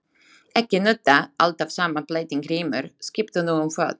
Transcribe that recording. Ekki nudda alltaf sama blettinn Grímur, skiptu nú um fót.